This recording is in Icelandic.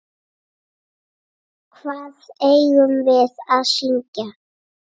Hvað eigum við að syngja?